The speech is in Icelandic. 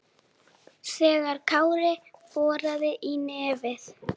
þegar Kári boraði í nefið.